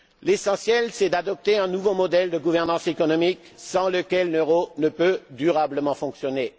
L'essentiel, c'est d'adopter un nouveau modèle de gouvernance économique sans lequel l'euro ne peut durablement fonctionner.